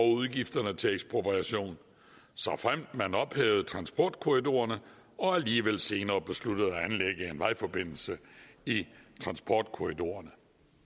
udgifterne til ekspropriation såfremt man ophævede transportkorridorerne og alligevel senere besluttede at anlægge en vejforbindelse i transportkorridorerne